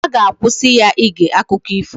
A ga-akwụsị ya ige akụkọ ifo